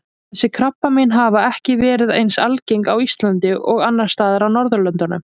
Þessi krabbamein hafa ekki verið eins algengt á Íslandi og annars staðar á Norðurlöndunum.